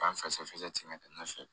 K'an fɛsɛ fɛsɛ